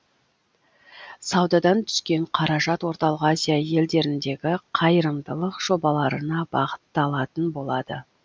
саудадан түскен қаражат орталық азия елдеріндегі қайырымдылық жобаларына бағытталатын болады